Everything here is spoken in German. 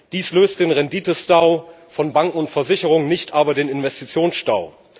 Dies löst den Renditestau von Banken und Versicherungen, nicht aber den Investitionsstau.